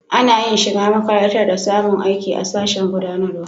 Ana yin shiga makarantar da samun aiki a sashen gudanarwa.